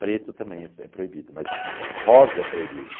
Preto também é é proibido, mas rosa é proibida.